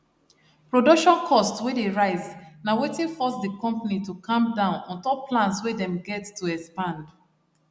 production cost wey dey rise na wetin force the company to calm down untop plans wey them get to expand